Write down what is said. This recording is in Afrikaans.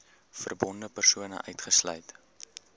verbonde persone uitgesluit